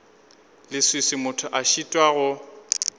leswiswi motho a šitwa go